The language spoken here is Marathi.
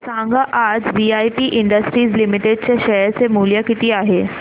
सांगा आज वीआईपी इंडस्ट्रीज लिमिटेड चे शेअर चे मूल्य किती आहे